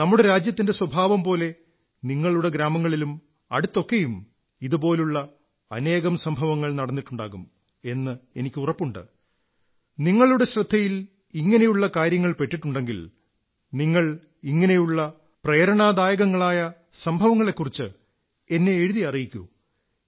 നമ്മുടെ രാജ്യത്തിന്റെ സ്വഭാവം പോലെ നിങ്ങളുടെ ഗ്രാമങ്ങളിലും അടുത്തൊക്കെയും ഇതുപോലുള്ള അനേകം സംഭവങ്ങൾ നടന്നിട്ടുണ്ടാകും എന്നെനിക്ക് ഉറപ്പുണ്ട് സുഹൃത്തുക്കളേ നിങ്ങളുടെ ശ്രദ്ധയിൽ ഇങ്ങനെയുള്ള കാര്യങ്ങൾ പെട്ടിട്ടുണ്ടെങ്കിൽ നിങ്ങൾ ഇങ്ങനെയുള്ള പ്രേരണാദായകങ്ങളായ സംഭവങ്ങളെക്കുറിച്ച് എന്നെ എഴുതി അറിയിക്കൂ